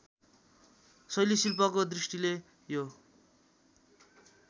शैलीशिल्पको दृष्टिले यो